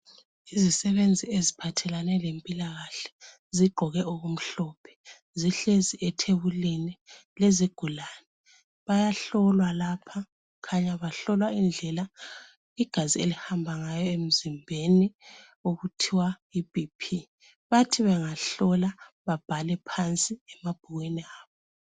Izisebenzi eziphathelane lempilakahle zigqoke okumhlophe zihlezi ethebulini lezigulane bayahlolwa lapha khanya bahlolwa indlela igazi elihamba yayo emzimbeni okuthiwa yi bp bathi bengahlola babhale phansi emabhukwini abo .